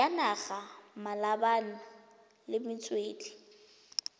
ya naga malebana le metswedi